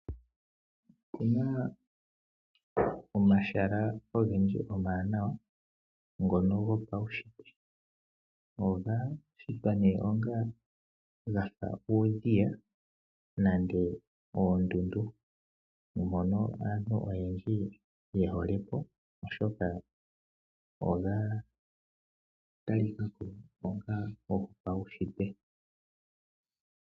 Opuna omahala ogendji omawanawa ngono gopaushitwe. Ogashitwa gafa uudhiya nenge oondundu mpono aantu oyendji yehole po oshoka ogatalika ko onga gopaushitwe.